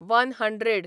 one hundred